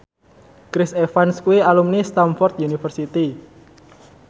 Chris Evans kuwi alumni Stamford University